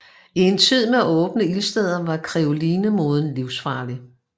I en tid med åbne ildsteder var krinolinemoden livsfarlig